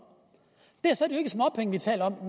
det